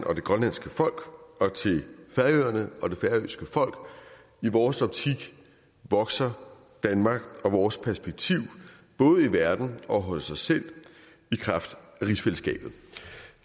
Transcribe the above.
og det grønlandske folk og til færøerne og det færøske folk i vores optik vokser danmark og vores perspektiv både i verden og hos os selv i kraft af rigsfællesskabet